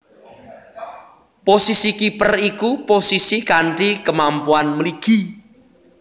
Posisi kiper iku posisi kanthi kemampuan mligi